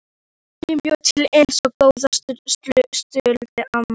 Enginn bjó til eins góða sultu og amma.